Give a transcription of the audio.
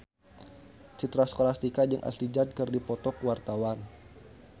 Citra Scholastika jeung Ashley Judd keur dipoto ku wartawan